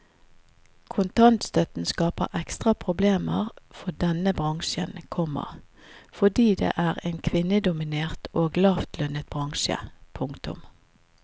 Kontantstøtten skaper ekstra problemer for denne bransjen, komma fordi det er en kvinnedominert og lavlønnet bransje. punktum